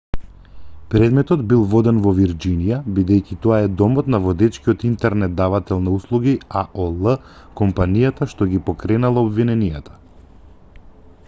предметот бил воден во вирџинија бидејќи тоа е домот на водечкиот интернет давател на услуги аол компанијата што ги поткренала обвиненијата